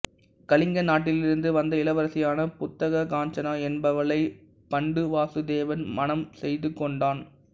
கலிங்க நாட்டிலிருந்து வந்த இளவரசியான புத்தகாஞ்சனா என்பவளை பண்டுவாசுதேவன் மணம் செய்துகொண்டான்